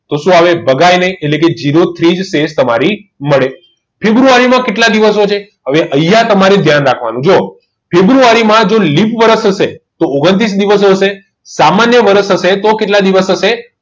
શું આવે ભગાઈ નહિ એટલે કે zero three તમારી શેષ મળે ફેબ્રુઆરીમાં કેટલા દિવસો છે અહીં હવે અહીંયા તમારી ધ્યાન રાખવાનું જુઓ ફેબ્રુઆરીમાં જો લીપ વરસ થશે તો ઓગન્ત્રિસ દિવસ હશે સામાન્ય વર્ષ હશે તો કેટલા દિવસ હશે